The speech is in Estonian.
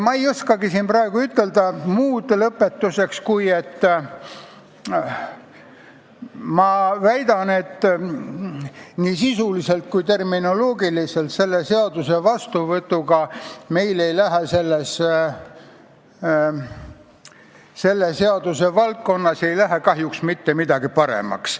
Ma ei oskagi siin praegu ütelda lõpetuseks muud, kui et ma väidan, et nii sisuliselt kui ka terminoloogiliselt ei lähe meil selle seaduse vastuvõtmisega selles valdkonnas kahjuks mitte midagi paremaks.